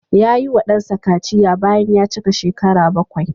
Ya yiwa ɗansa kaciya bayan ya cika shekara bakwai.